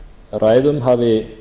ræðum hafi